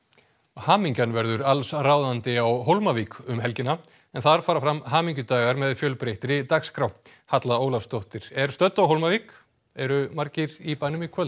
hamingjan verður allsráðandi á Hólmavík um helgina en þar fara fram hamingjudagar með fjölbreyttri dagskrá Halla Ólafsdóttir er stödd á Hólmavík eru margir í bænum í kvöld